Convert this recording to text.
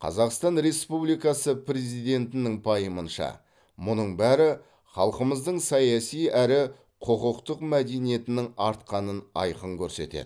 қазақстан республикасы президентінің пайымынша мұның бәрі халқымыздың саяси әрі құқықтық мәдениетінің артқанын айқын көрсетеді